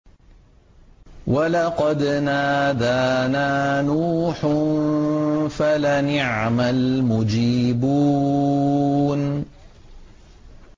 وَلَقَدْ نَادَانَا نُوحٌ فَلَنِعْمَ الْمُجِيبُونَ